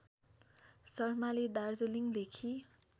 शर्माले दार्जिलिङदेखि